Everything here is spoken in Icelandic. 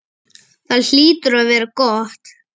Það hlýtur að vera gott.